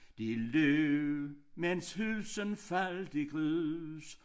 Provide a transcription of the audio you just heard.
De løb mens huset faldt i grus